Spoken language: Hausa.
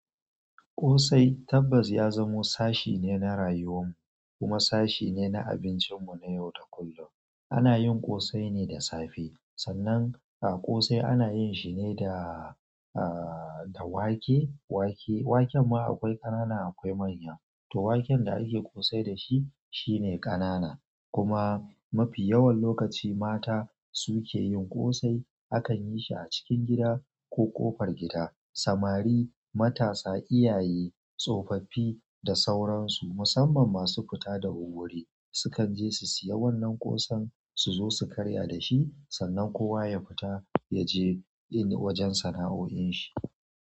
Ƙosai tabbas ya zamo sashe ne na rayuwar mu kuma sashe ne na abincin mu na yau da kullum. Ana yin ƙosai ne da safe, sannan a ƙosai ana yin shi ne da, aaah, da wake. Wake, waken ma akwai ƙanana akwai manya, to waken da ake ƙosai da shi shine ƙanana. Kuma mafi yawan lokaci mata su ke yin ƙosai. Akan yi shi a cikin gida ko ƙofar gida. Samari, matasa, iyaye, tsofaffi da sauransu musamman masu fita da wurwuri su kan je su siya wannan ƙosan su zo su karya da shi. Sannan kowa ya fita ya je yin wajen sana'o'in shi.